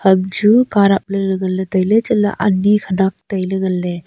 amchu kah dapley ley nganle tailey chatley ani khanak tailey ngan ley.